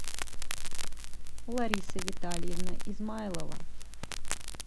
лариса витальевна измайлова